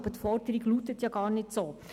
Aber die Forderung lautet gar nicht so.